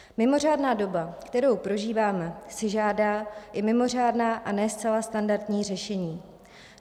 Mimořádná doba, kterou prožíváme, si žádá i mimořádná a ne zcela standardní řešení.